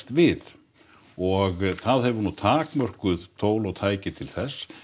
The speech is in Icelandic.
við og það hefur nú takmörkuð tól og tæki til þess